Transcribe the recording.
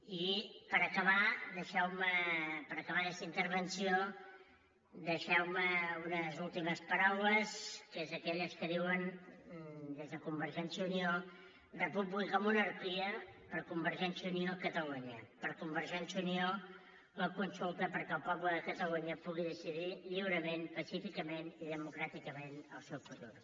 i per acabar aquesta intervenció deixeu me unes últimes paraules que són aquelles que diuen des de convergència i unió república o monarquia per convergència i unió catalunya per convergència i unió la consulta perquè el poble de catalunya pugui decidir lliurement pacíficament i democràticament el seu futur